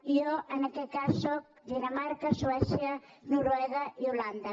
jo en aquest cas sóc dinamarca suècia noruega i holanda